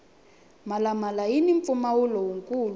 mhala mhala yini mpfumawulo wu kulu